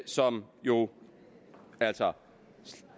som jo altså